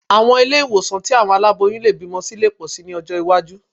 Àwọn ilé ìwòsàn tí àwọn aláboyún lè bímọ sí lè pọ̀ síi ní ọjọ́ iwájú